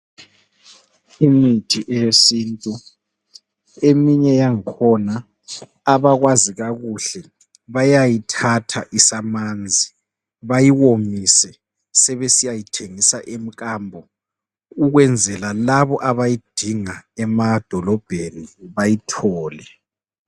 Imithi eyesintu, eminye yangkhona abakwazi kakuhle bayayithatha isamanzi bayiwomise sebesiyayithengisa emkambo ukwenzela labo abayidinga emadolobheni bayithole.